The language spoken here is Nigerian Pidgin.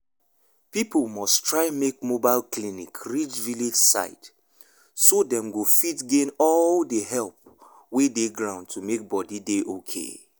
people must try make mobile clinic reach village side so dem go fit gain all the help wey dey ground to make body dey okay.